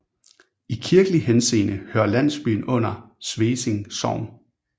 I kirkelig henseende hører landsbyen under Svesing Sogn